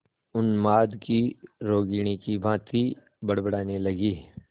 उन्माद की रोगिणी की भांति बड़बड़ाने लगी